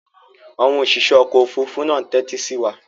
Àwọn òṣìṣẹ́ ọkọ̀-òfurufú náà ń tẹ́tí sí wa.